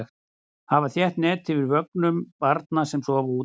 Hafa þétt net yfir vögnum barna sem sofa úti.